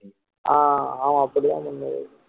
ஆஹ் ஆமா அப்படி தான் பண்ணணும் விவேக்